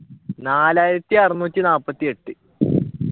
നാലായിരത്തി അറുനൂറ്റി നാല്പത്തി എട്ട്